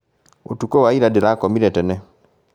ũtukũ wa ira ndĩrakomire tene